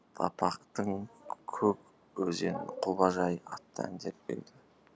аппақтың көк өзен құбажай атты әндері белгілі